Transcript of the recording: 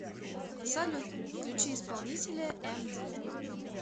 салют включи исполнителя эмди